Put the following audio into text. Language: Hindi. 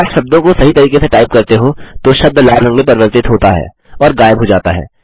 अगर आप शब्दों को सही तरीके से टाइप करते हो तो शब्द लाल रंग में परिवर्तित होता है और गायब हो जाता है